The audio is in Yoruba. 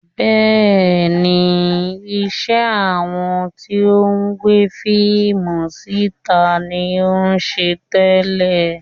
Bẹ́ẹ̀ni, iṣẹ́ àwọn tí ó ń gbé fíìmù sí ìta ni ó ń ṣe tẹ́lẹ̀